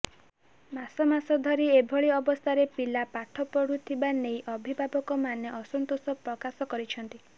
ମାସ ମାସ ଧରି ଏଭଳି ଅବସ୍ଥାରେ ପିଲା ପାଠ ପଢୁଥିବା ନେଇ ଅଭିଭାବକମାନେ ଅସନ୍ତୋଷ ପ୍ରକାଶ କରିଛନ୍ତି